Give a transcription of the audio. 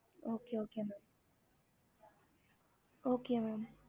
ஹம்